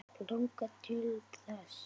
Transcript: Langar þig til þess?